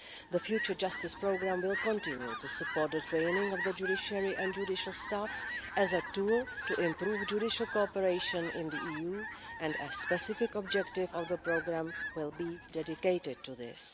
The future Justice Programme will continue to support the training of the judiciary and judicial staff as a tool to improve judicial cooperation in the EU and a specific objective of the programme will be dedicated to this.